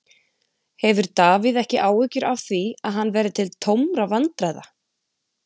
Hefur Davíð ekki áhyggjur af því að hann verði til tómra vandræða?